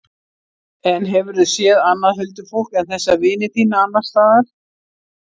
En hefurðu séð annað huldufólk en þessa vini þína, annars staðar?